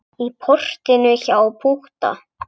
Í portinu hjá Pútta.